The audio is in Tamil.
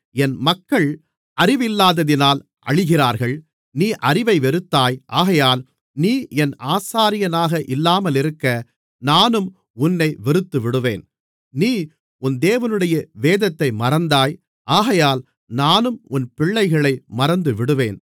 என் மக்கள் அறிவில்லாததினால் அழிகிறார்கள் நீ அறிவை வெறுத்தாய் ஆகையால் நீ என் ஆசாரியனாக இல்லாமலிருக்க நானும் உன்னை வெறுத்துவிடுவேன் நீ உன் தேவனுடைய வேதத்தை மறந்தாய் ஆகையால் நானும் உன் பிள்ளைகளை மறந்துவிடுவேன்